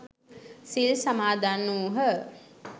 සිල් සමාදන් වුහ.